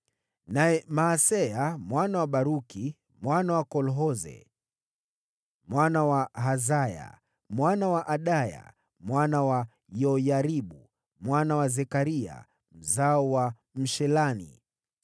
Naye Maaseya mwana wa Baruku, mwana wa Kolhoze, mwana wa Hazaya, mwana wa Adaya, mwana wa Yoyaribu, mwana wa Zekaria, mzao wa Mshiloni.